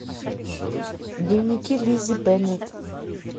дневники лиззи беннет